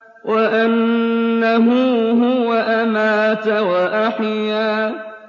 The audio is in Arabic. وَأَنَّهُ هُوَ أَمَاتَ وَأَحْيَا